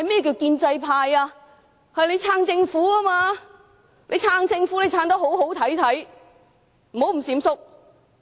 建制派理應支持政府；若要支持政府便要得體，不應閃縮。